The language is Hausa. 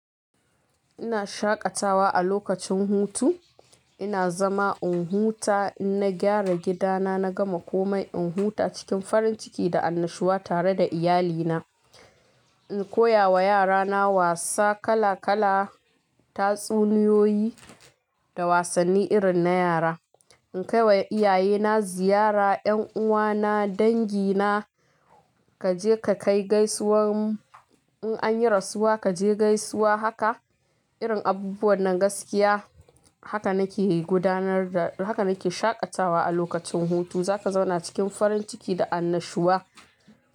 Ina shaƙatawa a lokacin hutu, ina zama in huta, in na gyara gidana, na gama komai, in huta cikin farin ciki da annashuwa tare da iyalina. In koyawa yarana wasa kala-kala, tatsuniyoyi, da wasanni irin na yara. In kai wa iyayena ziyara, 'yan uwana, dangi na, ka je ka kai gaisuwan in an yi rasuwa, ka je gaisuwa haka, irin abubuwan nan gaskiya. Haka nake gudanar da, haka nake shaƙatawa a lokacin hutu. Za ka zauna cikin farin ciki da annashuwa.